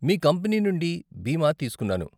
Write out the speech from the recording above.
మీ company నుండి బీమా తీస్కున్నాను.